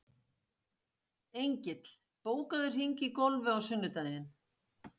Engill, bókaðu hring í golf á sunnudaginn.